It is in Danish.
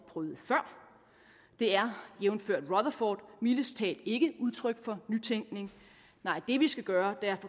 prøvet før det er jævnfør rutherford mildest talt ikke udtryk for nytænkning det vi skal gøre er